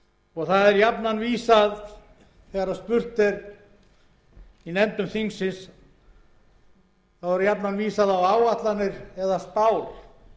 ekki fyrir nú og þegar spurt er í nefndum þingsins þá er jafnan vísað á áætlanir eða spár alþjóðagjaldeyrissjóðsins